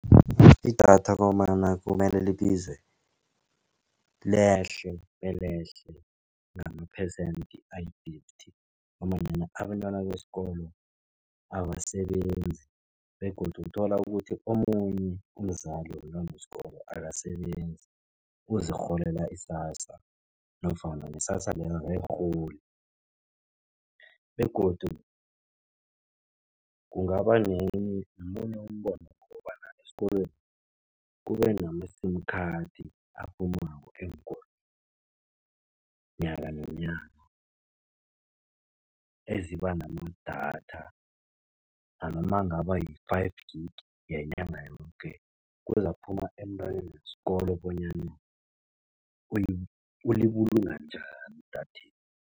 Idatha komana kumele libize, lehle belehle ngamaphesende ayi-thirty ngombanyana abentwana besikolo abasebenzi begodu kuthola ukuthi omunye umzali womntwana wesikolo akasebenzi, uzirholela i-SASSA nofana ne-SASSA leyo aKayirholi begodu kungaba nenye, nomunye umbono kobana esikolweni kube nama-sim khathi aphumako eenkolweni nyakanonyana eziba namadatha nanoma angaba yi-five gig ngenyanga yoke, kuzakuphuma emntwaneni wesikolo bonyana ulibulunga njani idatheli.